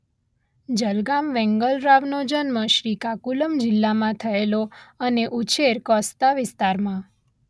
જલગામ વેન્ગલ રાવનો જન્મ શ્રીકાકુલમ જિલ્લામાં થયેલો અને ઉછેર કોસ્તા વિસ્તારમાં.